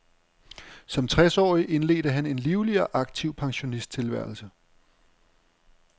Som tres årig indledte han en livlig og aktiv pensionisttilværelse.